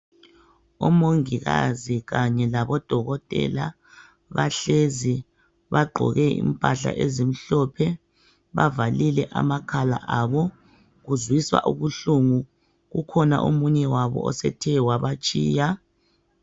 Omongikazi kanye labodokotela bahlezi bagqoke impahla ezimhlophe bavalile amakhala abo kuzwisa ubuhlungu kukhona omunye wabo osethe wabatshiya.